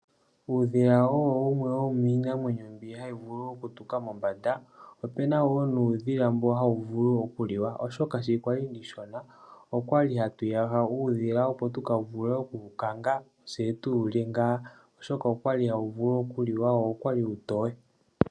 Uudhila owo wumwe womiinamwenyo mbyoka hayi vulu okutuka mombanda. Opena wo nuudhila mboka hawu vulu oku liwa ,oshoka sho ndali omushona okwali hatu yaha uudhila opo tuka vule oku wu kanga tse tu wu lye oshoka okwali hawu vulu okuliwa wo uutoye.